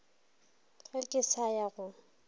ge ke sa ya go